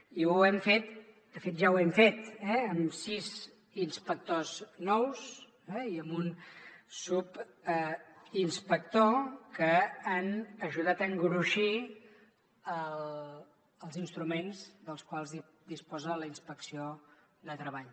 i ho hem fet de fet ja ho hem fet amb sis inspectors nous i amb un subinspector que han ajudat a engruixir els instruments dels quals disposa la inspecció de treball